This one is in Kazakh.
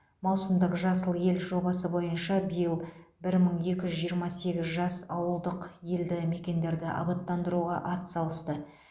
маусымдық жасыл ел жобасы бойынша биыл бір мың екі жүз жиырма сегіз жас ауылдық елді мекендерді абаттандыруға атсалысты